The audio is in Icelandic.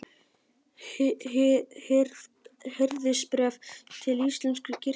Hirðisbréf til íslensku kirkjunnar.